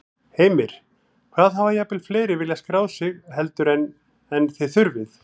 Heimir: Hvað, hafa jafnvel fleiri viljað skráð sig heldur en, en þið þurfið?